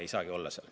Ei saagi olla.